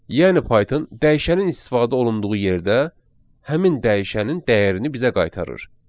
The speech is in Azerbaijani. Yəni Python dəyişənin istifadə olunduğu yerdə həmin dəyişənin dəyərini bizə qaytarır.